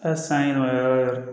Hali sanɲɛma yɔrɔ